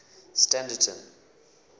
standerton